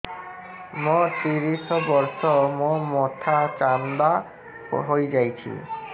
ମୋ ତିରିଶ ବର୍ଷ ମୋ ମୋଥା ଚାନ୍ଦା ହଇଯାଇଛି